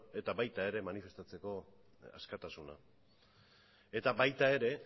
eta baita manifestatzeko askatasuna ere eta baita ere